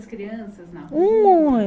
Crianças na rua? Um